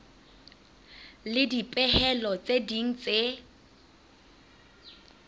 le dipehelo tse ding tse